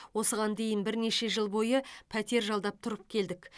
осыған дейін бірнеше жыл бойы пәтер жалдап тұрып келдік